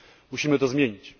Musimy to zmienić.